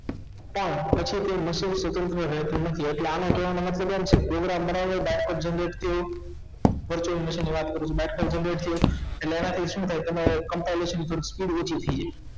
આમ પછી તે સ્વતંત્ર રહેતુ નથી ઍટલે આનો કેવાનો મતલબ એમ છે program બનાવ્યા બાદ કે ની વાત કરું છું તો એના થી શું થાય તેના થી શું થાય તેનો compisation speed ઓછી થઈ જાય છે